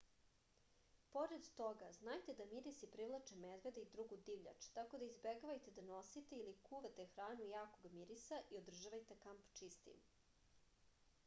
pored toga znajte da mirisi privlače medvede i drugu divljač tako da izbegavajte da nosite ili kuvate hranu jakog mirisa i održavajte kamp čistim